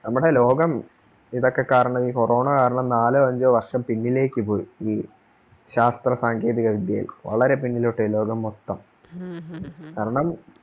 നമ്മുടെ ലോകം ഇതൊക്കെ കാരണം ഈ corona കാരണം നാലോ അഞ്ചോ വർഷം പിന്നിലേക്ക് പോയി ഈ ശാസ്ത്ര സാങ്കേതികവിദ്യയിൽ വളരെ പിന്നിലോട്ട് പോയി ലോകം മൊത്തം കാരണം